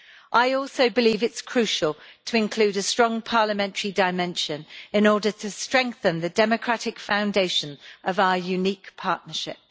I also believe it is crucial to include a strong parliamentary dimension in order to strengthen the democratic foundation of our unique partnership.